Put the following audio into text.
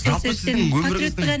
жалпы сіздің өміріңіздің